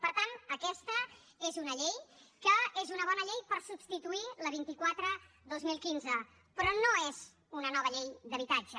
per tant aquesta és una llei que és una bona llei per substituir la vint quatre dos mil quinze però no és una nova llei d’habitatge